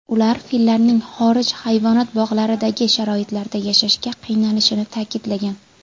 Ular fillarning xorij hayvonot bog‘laridagi sharoitlarda yashashga qiynalishini ta’kidlagan.